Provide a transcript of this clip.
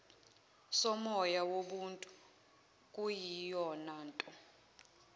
somoya wobuntu okuyiyonanto